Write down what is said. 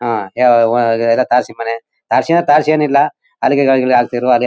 ಹಾಂ ಎ ಒ ಅದು ತಾರಸಿ ಮನೆ. ತಾರಸಿ ಅಂದ್ರೆ ತಾರ್ಸಿ ಏನಿಲ್ಲ ಅಲಗೆ ಎಲ್ಲಾ ಹಾಕ್ತಿದ್ರು ಅದೇ--